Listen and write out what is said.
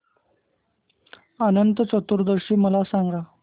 अनंत चतुर्दशी मला सांगा